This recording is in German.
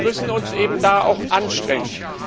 Aber wir müssen uns eben auch anstrengen.